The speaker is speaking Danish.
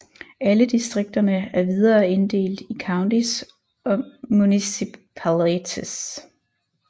Alle distrikterne er videre inddelt i counties og municipalities